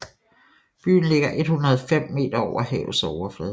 Byen ligger 105 meter over havets overflade